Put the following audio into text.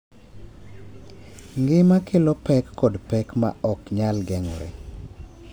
Ngima kelo pek kod pek ma ok nyal geng’ore,